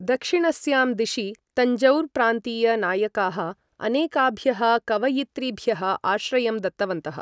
दक्षिणस्यां दिशि, तञ्जौर् प्रान्तीय नायकाः अनेकाभ्यः कवयित्रीभ्यः आश्रयं दत्तवन्तः।